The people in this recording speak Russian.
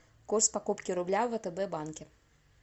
курс покупки рубля в втб банке